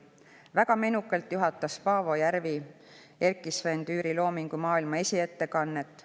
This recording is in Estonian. Väga menukalt juhatas Paavo Järvi Erkki-Sven Tüüri loomingu maailma esiettekannet.